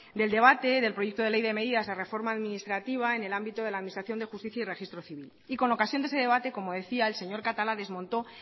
del debate del proyecto de ley de medidas de reforma administrativa en el ámbito de la administración de justicia y registro civil y con ocasión de ese debate como decía el señor catalá desmontó